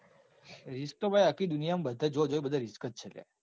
risk તો ભાઈ આખી દુનિયા માં જો જોઉં ત્યો risk જ છે લ્યા.